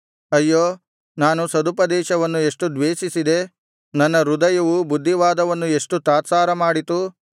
ಅಯ್ಯೋ ನಾನು ಸದುಪದೇಶವನ್ನು ಎಷ್ಟು ದ್ವೇಷಿಸಿದೆ ನನ್ನ ಹೃದಯವು ಬುದ್ಧಿವಾದವನ್ನು ಎಷ್ಟು ತಾತ್ಸಾರ ಮಾಡಿತು